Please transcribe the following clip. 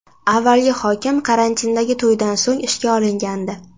Avvalgi hokim karantindagi to‘ydan so‘ng ishdan olingandi.